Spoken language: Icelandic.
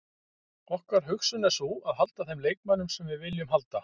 Okkar hugsun er sú að halda þeim leikmönnum sem við viljum halda.